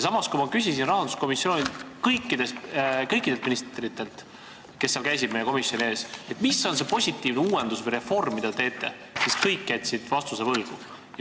Samas, kui ma küsisin rahanduskomisjonis kõikidelt ministritelt, kes meie ees käisid, mis on see positiivne uuendusreform, mida te teete, siis jäid kõik vastuse võlgu.